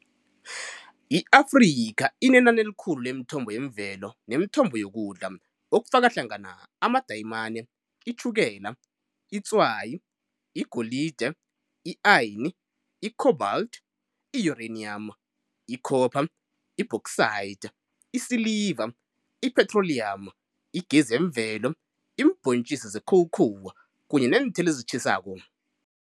I-Afrika inenani elikhulu lemithombo yemvelo nemithombo yokudla, okufakahlangana amadayimane, itjhukela, itswayi, igolide, i-ayini, i-cobalt, i-uranium, ikhopha, i-bauxite, isiliva, i-petroleum, igesi yemvelo, iimbhontjisi ze-cocoa, kanye nezithelo ezitjhisako.